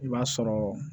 I b'a sɔrɔ